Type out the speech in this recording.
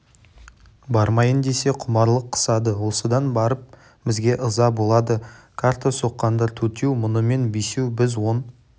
бармайын десе құмарлық қысады осыдан барып бізге ыза болады карта соққандар төртеу мұнымен бесеу біз он